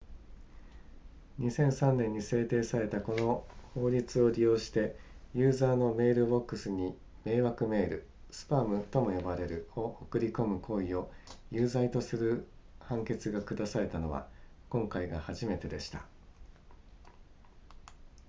2003年に制定されたこの法律を利用して、ユーザーのメールボックスに迷惑メールスパムとも呼ばれるを送り込む行為を有罪とする判決が下されたのは、今回が初めてでした